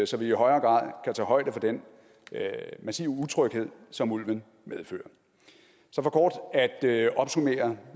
så vi i højere grad kan tage højde for den massive utryghed som ulven medfører så for kort at opsummere